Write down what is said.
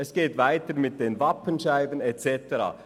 – Es geht weiter mit den Wappenscheiben und so weiter.